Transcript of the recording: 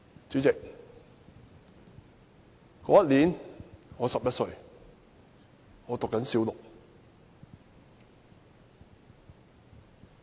主席，那年我11歲，正就讀小六。